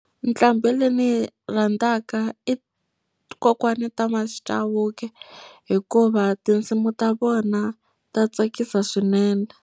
Nqambhi leyi ndzi yi rhandzaka i kokwana Thomas Chauke hikuva tinsimu ta vona ta tsakisa swinene.